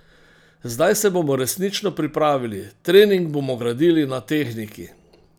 Zdaj se bomo resnično pripravili, trening bomo gradili na tehniki.